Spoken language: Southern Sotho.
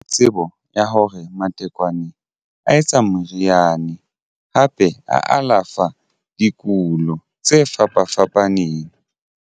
Tsebo ya hore matekwane a etsa moriane hape a alafa dikulo tse fapa fapaneng.